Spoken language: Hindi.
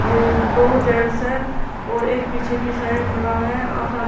ये दोनों जेंट्स है और एक पीछे की साइड खड़ा है --